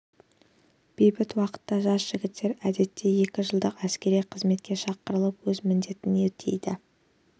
бейбіт уақытта жас жігіттер әдетте екі жылдық әскери қызметке шақырылып өз міндетін өтейді